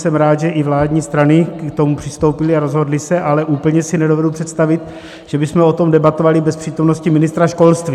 Jsem rád, že i vládní strany k tomu přistoupily a rozhodly se, ale úplně si nedovedu představit, že bychom o tom debatovali bez přítomnosti ministra školství.